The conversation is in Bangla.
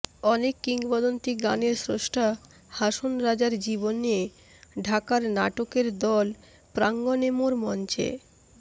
অনেক কিংবদন্তি গানের স্রষ্টা হাসন রাজার জীবন নিয়ে ঢাকার নাটকের দল প্রাঙ্গণেমোর মঞ্চে